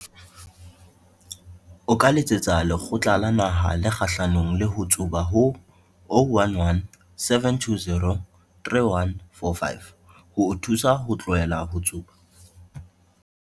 O ka letsetsa Lekgotla la Naha le Kgahlanong le ho Tsuba ho 011 720 3145 ho o thusa ho tlohela ho tsuba.